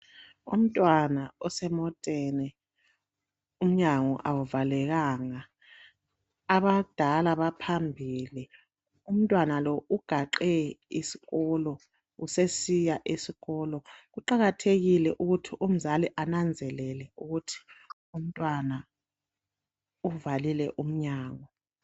umntwana osemoteni umnyango awuvalekanga abadala baphambili umntwana lo ugaxe isikhwama usesiya esikolo kuqakathekile ukuthi umzali ananzelele ukuthi umntwana uvalile umnyango